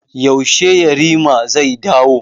Yaushe yarima zai dawo?